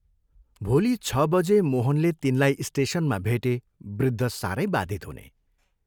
भोलि छ बजे मोहनले तिनलाई स्टेशनमा भेटे वृद्ध सारै बाधित हुने।